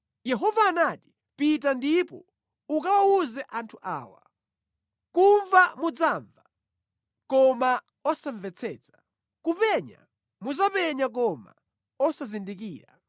Yehova anati, “Pita ndipo ukawawuze anthu awa: “ ‘Kumva muzimva, koma osamvetsetsa; kupenya muzipenya koma osaona kanthu.’